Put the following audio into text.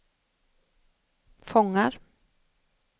fångar